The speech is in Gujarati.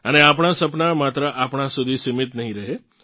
અને આપણાં સપનાં માત્ર આપણાં સુધી સીમિત નહીં રહે